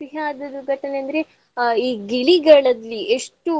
ಸಿಹಿ ಆದದ್ದು ಘಟನೆ ಅಂದ್ರೆ ಈ ಗಿಳಿಗಳಲ್ಲಿ ಎಷ್ಟು